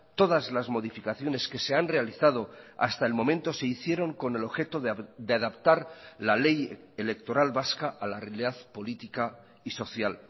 todas las modificaciones que se han realizado hasta el momento se hicieron con el objeto de adaptar la ley electoral vasca a la realidad política y social